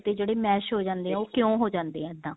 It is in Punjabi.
ਤੇ ਜਿਹੜੇ mash ਹੋ ਜਾਂਦੇ ਹੈ ਉਹ ਕਿਉਂ ਹੋ ਜਾਂਦੇ ਹੈ ਇੱਦਾਂ